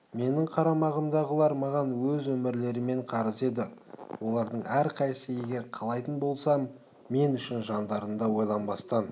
менің қарамағымдағылар маған өз өмірлерімен қарыз еді олардың әрқайсысы егер қалайтын болсам мен үшін жандарын да ойланбастан